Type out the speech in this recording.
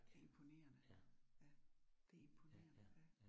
Imponerende. Ja, det imponerende ja